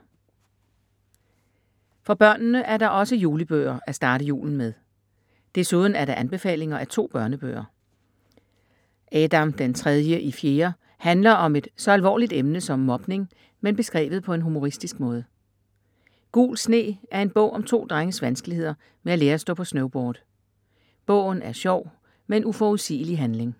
For børnene er der også julebøger at starte julen med. Desuden er der anbefalinger af 2 børnebøger. Adam den tredje i fjerde handler om et så alvorligt emne som mobning, men beskrevet på en humoristisk måde. Gul sne er en bog om to drenges vanskeligheder med at lære at stå på snowboard. Bogen er sjov med en uforudsigelig handling.